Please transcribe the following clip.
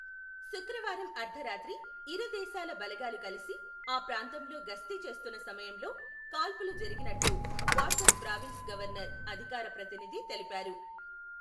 శుక్రవారం అర్థరాత్రి ఇరు దేశాల బలగాలు కలిసి ఆ ప్రాంతంలో గస్తీ చేస్తున్న సమయంలో కాల్పులు జరిగినట్లు వార్దక్ ప్రావిన్స్ గవర్నర్ అధికార ప్రతినిధి తెలిపారు.